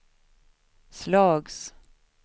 slags